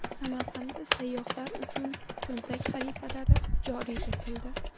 Samarqandda sayyohlar uchun cho‘ntak xaritalari joriy etildi.